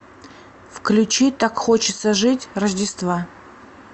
включи так хочется жить рождества